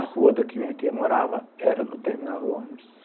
A rua da que minha tia morava era no terminal do ônibus.